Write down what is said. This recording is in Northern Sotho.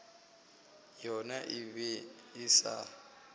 yona e be e sa